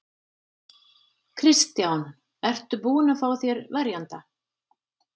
Kristján: Ertu búinn að fá þér verjanda?